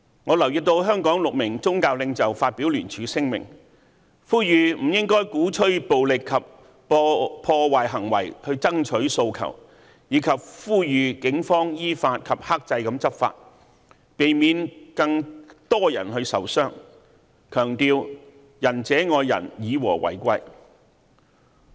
我留意到香港6名宗教領袖發表聯署聲明，呼籲不應鼓吹暴力及破壞行為爭取訴求，以及呼籲警方依法及克制地執法，避免更多人受傷，強調"仁者愛人，以和為貴"。